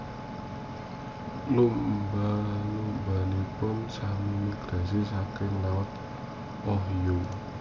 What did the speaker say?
Lumba lumbanipun sami migrasi saking laut Ohio